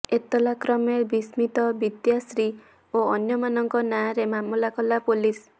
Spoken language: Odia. ଏତଲା କ୍ରମେ ବିସ୍ମିତ ବିଦ୍ୟାଶ୍ରୀ ଓ ଅନ୍ୟମାନଙ୍କ ନାଁରେ ମାମଲା କଲା ପୋଲିସ